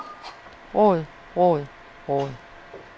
råd råd råd